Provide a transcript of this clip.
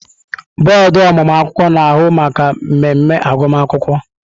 Bọọdụ ọmụmụ akwụkwọ na-ahụ maka mmemme agụmakwụkwọ.